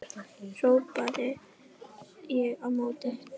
hrópaði ég á móti.